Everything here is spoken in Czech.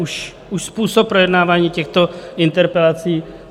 Už způsob projednávání těchto interpelací.